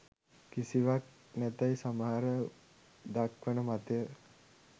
කිසිවක් නැතැයි සමහර දක්වන මතය